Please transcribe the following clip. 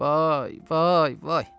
Vay, vay, vay!